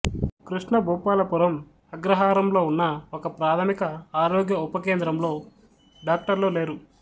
కృష్ణభుపల పురం అగ్రహారంలో ఉన్న ఒక ప్రాథమిక ఆరోగ్య ఉప కేంద్రంలో డాక్టర్లు లేరు